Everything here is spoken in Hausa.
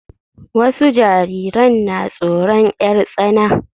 Wasu jariran na tsoron 'yar tsana.